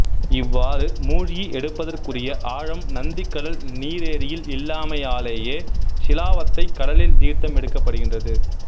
இவ்வாறு மூழ்கி எடுப்பதற்குரிய ஆழம் நந்திக்கடல் நீரேரியில் இல்லாமையாலேயே சிலாவத்தைக் கடலில் தீர்த்தம் எடுக்கப்படுகின்றது